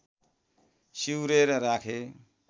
सिउरेर राखे